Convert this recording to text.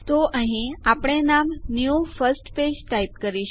તો અહીં આપણે નામ ન્યૂ ફર્સ્ટ પેજ ટાઈપ કરીશું